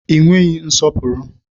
Ị nweghị nsọpụrụ!